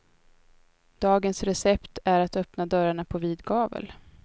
Dagens recept är att öppna dörrarna på vid gavel.